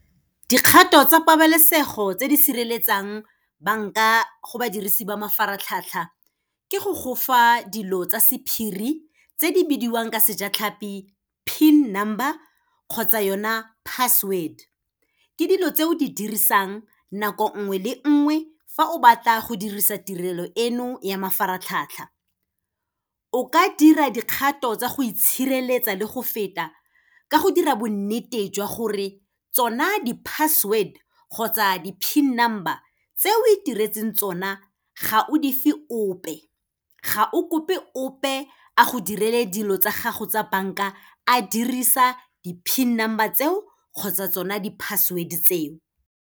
Dikgato tsa pabalesego tse di sireletsang banka go badirisi ba mafaratlhatlha, ke go gofa dilo tsa sephiri, tse di bidiwang ka sejatlhapi PIN number kgotsa yona password. Ke dilo tse o di dirisang nako nngwe le nngwe fa o batla go dirisa tirelo eno ya mafaratlhatlha. O ka dira dikgato tsa go itshireletsa le go feta, ka go dira bonnete jwa gore, tsona di-password kgotsa di-PIN number tse o itiretseng tsona, ga o dife ope, ga o kope ope a go direle dilo tsa gago tsa bank-a, a dirisa di-PIN number tseo kgotsa tsona di-password tseo.